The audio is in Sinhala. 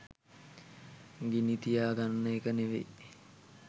ගිනිතියා ගන්න එක නෙවෙයි.